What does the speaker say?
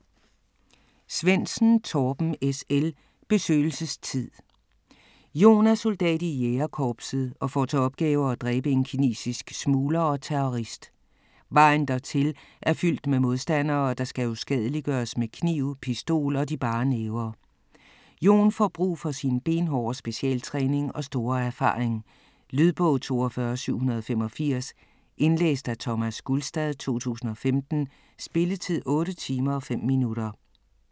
Svendsen, Torben S. L.: Besøgelsestid Jon er soldat i Jægerkorpset og får til opgave at dræbe en kinesisk smugler og terrorist. Vejen dertil er fyldt med modstandere, der skal uskadeliggøres med kniv, pistol og de bare næver. Jon får brug for sin benhårde specialtræning og store erfaring. Lydbog 42785 Indlæst af Thomas Gulstad, 2015. Spilletid: 8 timer, 5 minutter.